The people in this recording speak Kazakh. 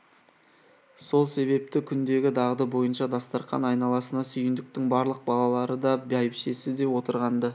сол себепті күндегі дағды бойынша дастарқан айналасына сүйіндіктің барлық балалары да бәйбішесі де отырған-ды